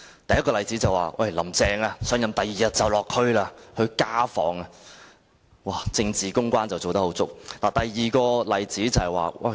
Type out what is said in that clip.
第一個例子是，"林鄭"上任翌日便落區進行家訪，真是做足政治公關工作。